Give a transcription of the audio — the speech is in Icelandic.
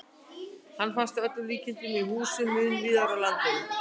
Hann finnst að öllum líkindum í húsum mun víðar á landinu.